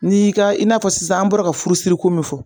N'i y'i ka i n'a fɔ sisan an bɔra ka furu siri ko min fɔ